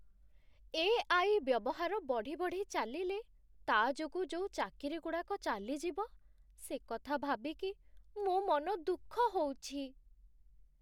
AI. ବ୍ୟବହାର ବଢ଼ି ବଢ଼ି ଚାଲିଲେ, ତା' ଯୋଗୁଁ ଯୋଉ ଚାକିରିଗୁଡ଼ାକ ଚାଲିଯିବ, ସେକଥା ଭାବିକି ମୋ' ମନଦୁଃଖ ହଉଛି ।